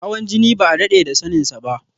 Hawan jini ba a daɗe da saninsa ba.